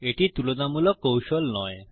এটি তুলনামূলক কৌশল নয়